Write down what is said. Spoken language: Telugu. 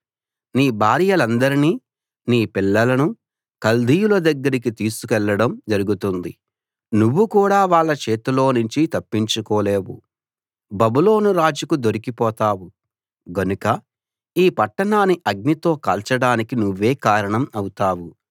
నీ భార్యలందరినీ నీ పిల్లలనూ కల్దీయుల దగ్గరికి తీసుకెళ్ళడం జరుగుతుంది నువ్వు కూడా వాళ్ళ చేతిలోనుంచి తప్పించుకోలేవు బబులోను రాజుకు దొరికిపోతావు గనుక ఈ పట్టణాన్ని అగ్నితో కాల్చడానికి నువ్వే కారణం అవుతావు